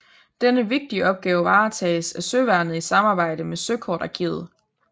Denne vigtige opgave varetages af søværnet i samarbejde med søkortarkivet